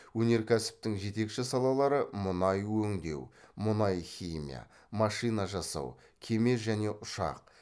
өнеркәсіптің жетекші салалары мұнай өңдеу мұнай химия машина жасау кеме және ұшақ